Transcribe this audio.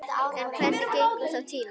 En hvernig gengur þá tíminn?